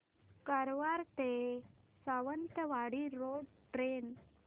कारवार ते Sawantwadi road train